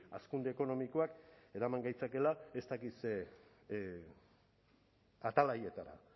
hazkunde ekonomikoak eraman gaitzakeela ez dakit ze atalaietara